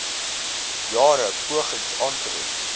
jare pogings aangewend